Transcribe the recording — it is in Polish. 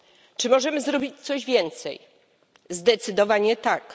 Czy możemy zrobić coś więcej? Zdecydowanie tak.